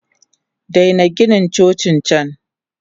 Daina Gina Cocin can!